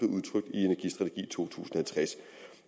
tusind